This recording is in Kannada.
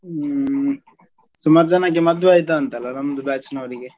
ಹ್ಮ್ ಸುಮಾರ್ ಜನಕ್ಕೆ ಮದುವೆ ಆಯ್ತಾ ಅಂತಲ್ಲ ನಮ್ದು batch ನವರಿಗೆ.